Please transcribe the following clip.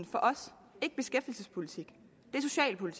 for os ikke beskæftigelsespolitik